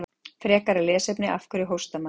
Frekara lesefni: Af hverju hóstar maður?